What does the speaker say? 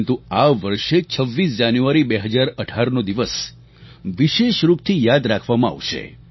પરંતુ આ વર્ષે 26 જાન્યુઆરી 2018નો દિવસ વિશેષરૂપથી યાદ રાખવામાં આવશે